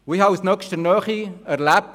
Ich habe das aus nächster Nähe erlebt.